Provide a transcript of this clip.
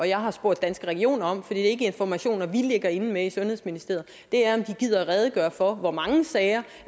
jeg har spurgt danske regioner om for det er ikke informationer vi ligger inde med i sundhedsministeriet er om de gider redegøre for hvor mange sager